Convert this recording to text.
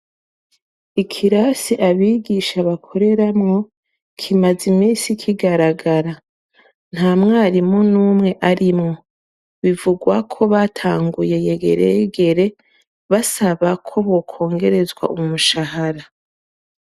Ikirasi abigisha bakoreramwo, kimaze imisi kagaragara. Ntamwarimu numwe arimwo, bivugwako batanguye yegereyegere basaba ko bokongerezwa umushahara.